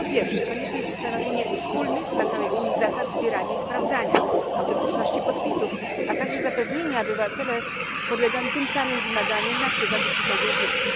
Po pierwsze, konieczne jest ustanowienie wspólnych dla całej Unii zasad zbierania i sprawdzania autentyczności podpisów, a także zapewnienie, aby obywatele podlegali tym samym wymaganiom na przykład jeśli chodzi o wiek.